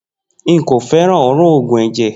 Nko feran olfato oogun eje.